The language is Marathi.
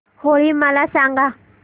होळी मला सांगा